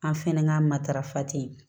An fɛnɛ ka matarafa ten